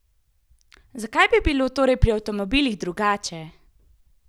Zakaj bi bilo torej pri avtomobilih drugače?